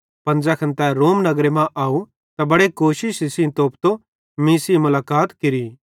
पन ज़ैखन तै रोम नगरे मां आव त बड़े कोशिश सेइं तोप्तां मीं सेइं मुलाकात केरि